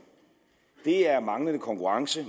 er manglende konkurrence